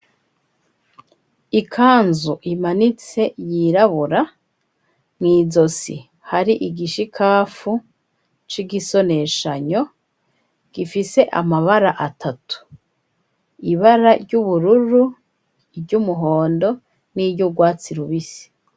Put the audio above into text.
Ikanzu imanitse, yirabura, mw'izosi hari igishikafu, c'igisoneshanyo, gifise amabara atatu: ibara ry'ubururu, iry'umuhondo, n'iry'urwatsi rubisi.